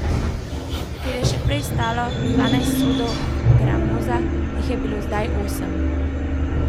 Kjer je še prej stalo dvanajst sodov gramoza, jih je bilo zdaj osem.